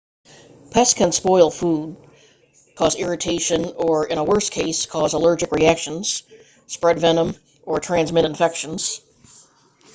pests can spoil food cause irritation or in a worse case cause allergic reactions spread venom or transmit infections